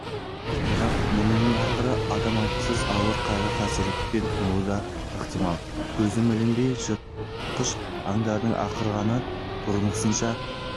бірақ мұның ақыры адам айтқысыз ауыр қайғы-қасіретпен тынуы да ықтимал көзім ілінбейді жытқыш аңдардың ақырғаны бұрынғысынша